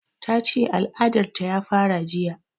Ta ce al'adar ta ya fara jiya